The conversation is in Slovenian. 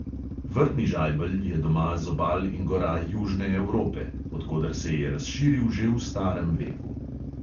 Vrtni žajbelj je doma z obal in gora južne evrope, od koder se je razširil že v starem veku.